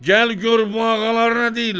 Gəl gör bu ağalar nə deyirlər.